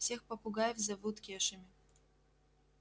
всех попугаев зовут кешами